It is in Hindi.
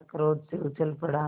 वह क्रोध से उछल पड़ा